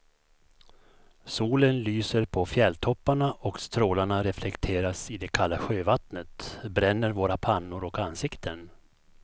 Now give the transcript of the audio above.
Solen lyser på fjälltopparna och strålarna reflekteras i det kalla sjövattnet, bränner våra pannor och ansikten.